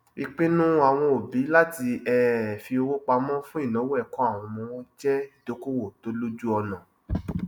ìpinnu àwọn òbí láti um fi owó pamọ fún ináwó ẹkọ àwọn ọmọ wọn jẹ ìdókòwò tó lójúọnà